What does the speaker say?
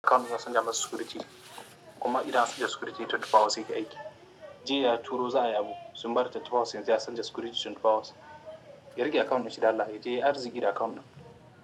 Account na canja masa security kuma ida an canja security 24 hours yake aiki. Jiya ya turo za ai a yabo sun bar 24 hours yanzu ya canja security 24 hours. Yari ke account dalla, ya je ya arziki da account ɗin.